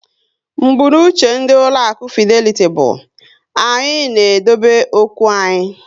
Mbunuche ndị ụlọaku Fideliti bụ "Anyị na-edobe okwu anyị"